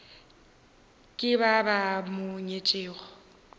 ke ba ba mo nyetšego